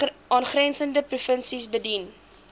aangrensende provinsies bedien